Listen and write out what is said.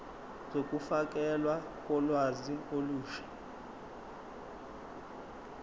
zokufakelwa kolwazi olusha